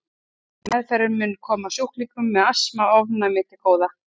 Meðferðin mun koma sjúklingum með astma og ofnæmi til góða.